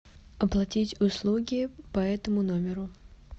оплатить услуги по этому номеру